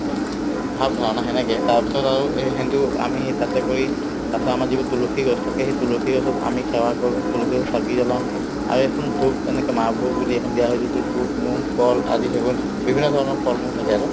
ভাৱ-ধাৰণা সেনেকে তাৰপিছত আৰু এইখিনিতো আমি এই তাতে কৰি তাৰপিছত আমাৰ যিবোৰ তুলসী গছ থাকে সেই তুলসী গছত আমি সেৱা কৰো তুলসী গছত চাকি জ্বলাওঁ আৰু এয়ে চোন ভোগ এনেকে মাহ ভোগ বুলি এখন দিয়া হয় যিটো বুট-মুগ কল আদি সেইবোৰ বিভিন্নধৰণৰ ফল-মূল থাকে আৰু